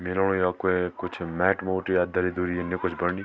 मि लगणु य कोए कुछ मैट मूट या दरी दुरी यनि कुछ बनणी।